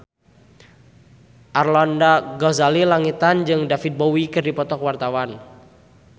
Arlanda Ghazali Langitan jeung David Bowie keur dipoto ku wartawan